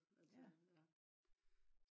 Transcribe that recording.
ja